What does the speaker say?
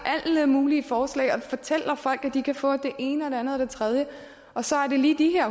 alle mulige forslag og fortæller folk at de kan få det ene og det andet og det tredje og så er det lige de her